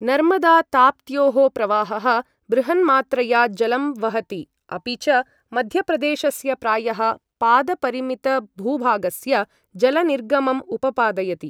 नर्मदा ताप्त्योः प्रवाहः बृहन्मात्रया जलं वहति अपि च मध्यप्रदेशस्य प्रायः पादपरिमितभूभागस्य जलनिर्गमम् उपपादयति।